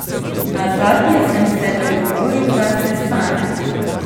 Nazadnje sem se dogovoril za sestanek.